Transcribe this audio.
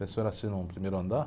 A pensão era assim num primeiro andar.